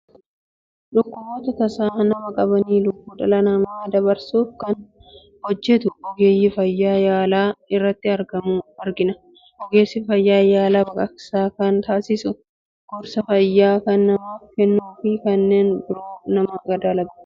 Dhukkuboota tasa nama qabanii lubbuu dhala namaa dabarsuuf kan hojjetu Ogeessa fayyaa yaala irratti argamu argina. Ogeessi fayyaa yaala baqaqsaa kan taasisu, gorsa fayyaa kan namaaf kennuu fi kanneen biroo namaa dalagudha.